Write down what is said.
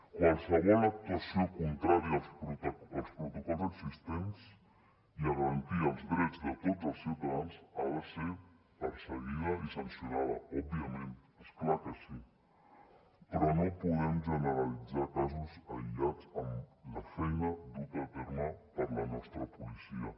qualsevol actuació contrària als protocols existents i a garantir els drets de tots els ciutadans ha de ser perseguida i sancionada òbviament és clar que sí però no podem generalitzar casos aïllats amb la feina duta a terme per la nostra policia